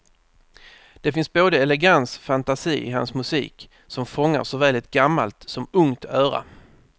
Det finns både elegans fantasi i hans musik som fångar såväl ett gammalt som ungt öra.